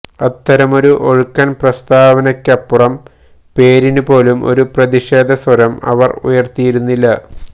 അത്തരമൊരു ഒഴുക്കൻ പ്രസ്താവനക്കപ്പുറം പേരിന് പോലും ഒരു പ്രതിഷേധ സ്വരം അവർ ഉയർത്തിയിരുന്നില്ല